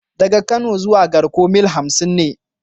Daga Kano zuwa Garko mil hamsin ne.